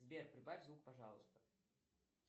сбер прибавь звук пожалуйста